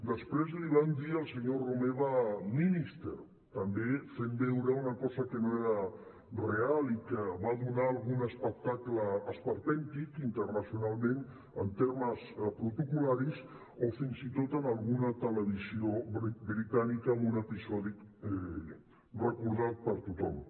després li van dir al senyor romeva minister també fent veure una cosa que no era real i que va donar algun espectacle esperpèntic internacionalment en termes protocol·laris o fins i tot en alguna televisió britànica amb un episodi recordat per tothom